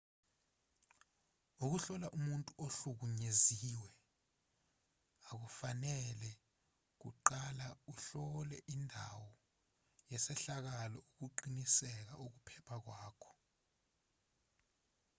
ukuhlola umuntu ohlukunyeziwe a kufanele kuqalauhlole indawo yesehlakalo ukuqinisekisa ukuphepha kwakho